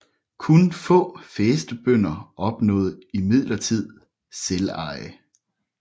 Kun få fæstebønder opnåede imidlertid selveje